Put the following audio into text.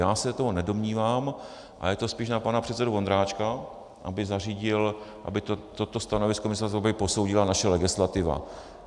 Já se to nedomnívám a je to spíš na pana předsedu Vondráčka, aby zařídil, aby toto stanovisko Ministerstva dopravy posoudila naše legislativa.